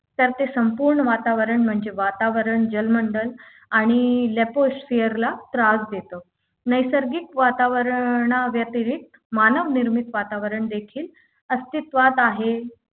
तर ते संपूर्ण वातावरण म्हणजे वातावरण जलमंडल आणि Leposphere त्रास देतो नैसर्गिक वातावरणाव्यतिरिक्त मानवनिर्मित वातावरण देखील अस्तित्वात आहे